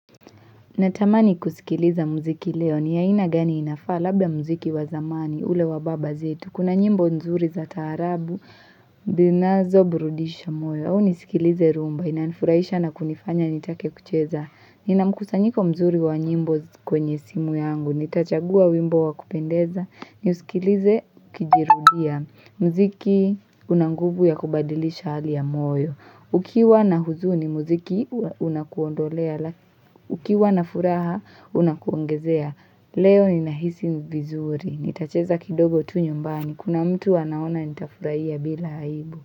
Natamani kusikiliza mziki leo ni aina gani inafaa labda mziki wa zamani ule wa baba zita. Kuna nyimbo nzuri za taarabu, zinazo burudisha moyo. Au nisikilize rumba, inanifuraisha na kunifanya nitake kucheza. Nina mkusanyiko mzuri wa nyimbo kwenye simu yangu, nitachagua wimbo wa kupendeza, nisikilize kijirudia. Mziki una nguvu ya kubadilisha hali ya moyo. Ukiwa na huzuni muziki unakuondolea, ukiwa na furaha unakuongezea, leo ninahisi vizuri, nitacheza kidogo tu nyumbani, kuna mtu anaona nitafuraia bila aibu.